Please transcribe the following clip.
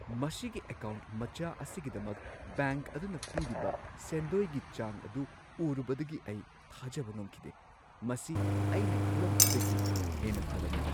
ꯃꯁꯤꯒꯤ ꯑꯦꯀꯥꯎꯟꯠ ꯃꯆꯥ ꯑꯁꯤꯒꯤꯗꯃꯛ ꯕꯦꯡꯛ ꯑꯗꯨꯅ ꯄꯤꯔꯤꯕ ꯁꯦꯟꯗꯣꯏꯒꯤ ꯆꯥꯡ ꯑꯗꯨ ꯎꯔꯨꯕꯗꯒꯤ ꯑꯩ ꯊꯥꯖꯕ ꯉꯝꯈꯤꯗꯦ ꯫ ꯃꯁꯤ ꯑꯩꯅ ꯈꯜꯂꯝꯕꯗꯨꯗꯒꯤ ꯍꯦꯟꯅ ꯐꯔꯝꯃꯤ ꯫